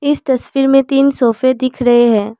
इस तस्वीर मे तीन सोफे दिख रहे हैं।